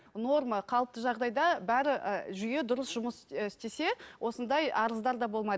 норма қалыпты жағдайда бәрі і жүйе дұрыс жұмыс і істесе осындай арыздар да болмайды